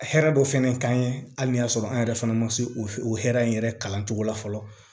Hɛrɛ dɔ fɛnɛ kan ye hali n'a y'a sɔrɔ an yɛrɛ fana ma se o hɛrɛ in yɛrɛ kalan cogo la fɔlɔ